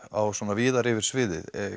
víðar yfir sviðið